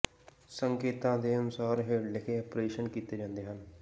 ਸੰਕੇਤਾਂ ਦੇ ਅਨੁਸਾਰ ਹੇਠ ਲਿਖੇ ਆਪਰੇਸ਼ਨ ਕੀਤੇ ਜਾਂਦੇ ਹਨ